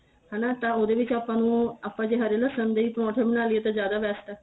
ਹਨਾ ਤਾਂ ਉਹਦੇ ਵਿੱਚ ਆਪਾਂ ਨੂੰ ਆਪਾਂ ਦੇ ਹਰੇ ਲਸ਼ਣ ਦੇ ਈ ਪਰੋਂਠੇ ਬਣਾ ਲਈਏ ਤਾਂ ਜਿਆਦਾ best ਏ